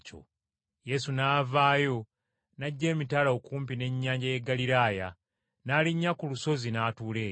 Yesu n’avaayo n’ajja emitala okumpi n’ennyanja y’e Ggaliraaya n’alinnya ku lusozi n’atuula eyo.